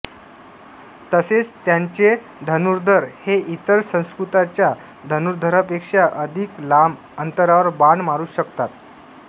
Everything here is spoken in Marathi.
तसेच त्यांचे धनुर्धर हे इतर संस्कृत्यांच्या धनुर्धरांपेक्षा अधिक लांब अंतरावर बाण मारू शकतात